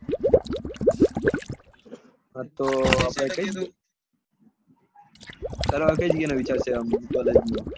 પેહલા તો કઈ જગ્યા એ college લેવાનું વિચાર્યું છે